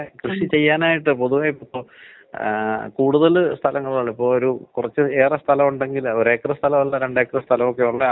ഈ വാതത്തിന്‍റെ പ്രശ്നം. പിന്ന ഈ ആൽക്കഹോള് യൂസ് ചെയ്യണത്. കൂടുതലായിട്ട് ആൽക്കഹോള് യൂസ് ചെയ്യണവർക്കാണ് വരണത്.